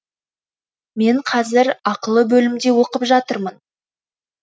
мен қазір ақылы бөлімде оқып жатырмын